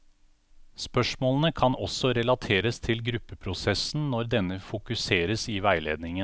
Spørsmålene kan også relateres til gruppeprosessen når denne fokuseres i veiledningen.